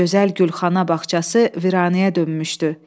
Gözəl Gülxana bağçası viranəyə dönmüşdü.